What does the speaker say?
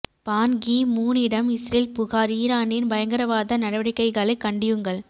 பான் Ki மூனிடம் Israel புகார் ஈரானின் பயங்கரவாத நடவடிக்கைகளை கண்டியுங்கள்